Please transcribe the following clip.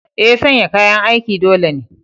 Eh, sanya kayan aikin dole ne.